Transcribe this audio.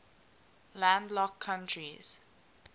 landlocked countries